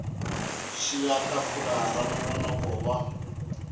xiya tafula ra nongonoko wa